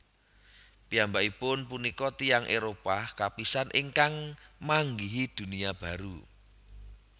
Piyambakipun punika tiyang Éropah kapisan ingkang manggihi Dunia Baru